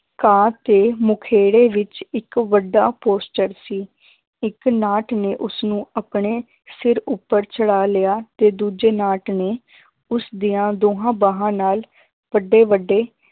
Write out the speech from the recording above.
ਘਾਹ ਤੇ ਮੁਖੇੜੇ ਵਿੱਚ ਇੱਕ ਵੱਡਾ posture ਸੀ, ਇੱਕ ਨਾਟ ਨੇ ਉਸਨੂੰ ਆਪਣੇ ਸਿਰ ਉੱਪਰ ਚੜਾ ਲਿਆ ਤੇ ਦੂਜੇ ਨਾਟ ਨੇ ਉਸਦੀਆਂ ਦੋਹਾਂ ਬਾਹਾਂ ਨਾਲ ਵੱਡੇ ਵੱਡੇ